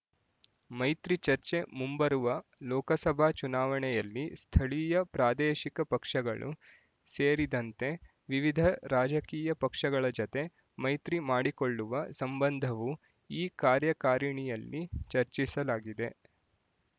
ಮೈತ್ರಿ ಚರ್ಚೆ ಮುಂಬರುವ ಲೋಕಸಭಾ ಚುನಾವಣೆಯಲ್ಲಿ ಸ್ಥಳೀಯ ಪ್ರಾದೇಶಿಕ ಪಕ್ಷಗಳು ಸೇರಿದಂತೆ ವಿವಿಧ ರಾಜಕೀಯ ಪಕ್ಷಗಳ ಜತೆ ಮೈತ್ರಿ ಮಾಡಿಕೊಳ್ಳುವ ಸಂಬಂಧವೂ ಈ ಕಾರ್ಯಕಾರಿಣಿಯಲ್ಲಿ ಚರ್ಚಿಸಲಾಗಿದೆ